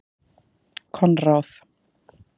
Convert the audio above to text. Konráð